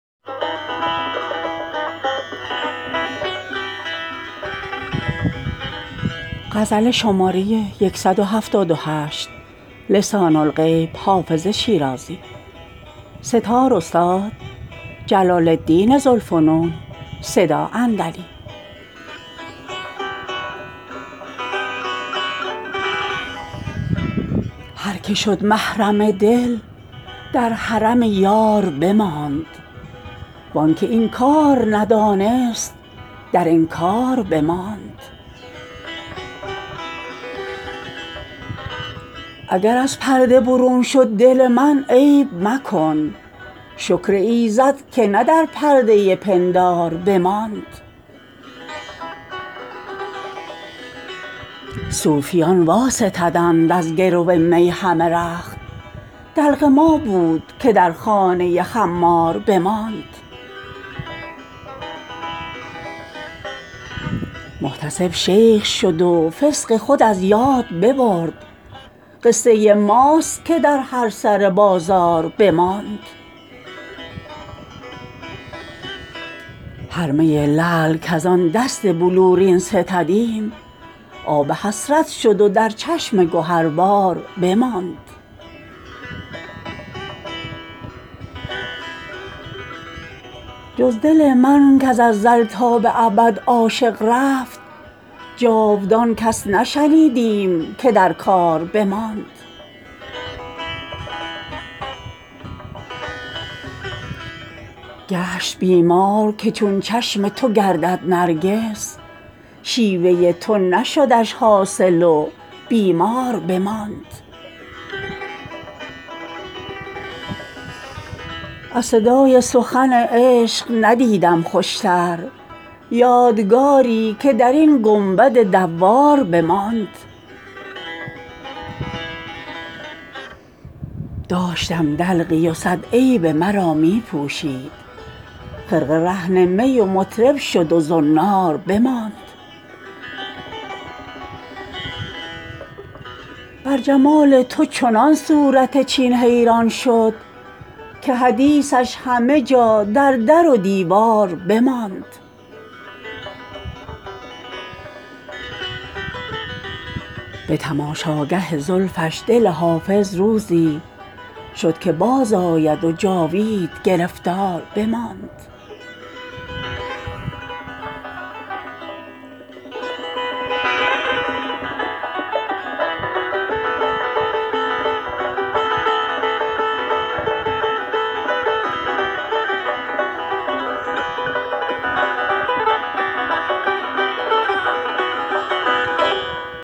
هر که شد محرم دل در حرم یار بماند وان که این کار ندانست در انکار بماند اگر از پرده برون شد دل من عیب مکن شکر ایزد که نه در پرده پندار بماند صوفیان واستدند از گرو می همه رخت دلق ما بود که در خانه خمار بماند محتسب شیخ شد و فسق خود از یاد ببرد قصه ماست که در هر سر بازار بماند هر می لعل کز آن دست بلورین ستدیم آب حسرت شد و در چشم گهربار بماند جز دل من کز ازل تا به ابد عاشق رفت جاودان کس نشنیدیم که در کار بماند گشت بیمار که چون چشم تو گردد نرگس شیوه تو نشدش حاصل و بیمار بماند از صدای سخن عشق ندیدم خوشتر یادگاری که در این گنبد دوار بماند داشتم دلقی و صد عیب مرا می پوشید خرقه رهن می و مطرب شد و زنار بماند بر جمال تو چنان صورت چین حیران شد که حدیثش همه جا در در و دیوار بماند به تماشاگه زلفش دل حافظ روزی شد که بازآید و جاوید گرفتار بماند